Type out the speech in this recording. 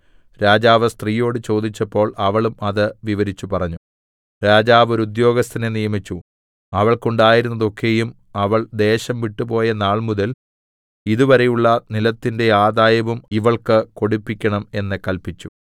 രാജാവ് സ്ത്രീയോട് ചോദിച്ചപ്പോൾ അവളും അത് വിവരിച്ച് പറഞ്ഞു രാജാവ് ഒരു ഉദ്യോഗസ്ഥനെ നിയമിച്ചു അവൾക്കുണ്ടായിരുന്നതൊക്കെയും അവൾ ദേശം വിട്ടുപോയ നാൾമുതൽ ഇതുവരെയുള്ള നിലത്തിന്റെ ആദായവും ഇവൾക്കു കൊടുപ്പിക്കണം എന്ന് കല്പിച്ചു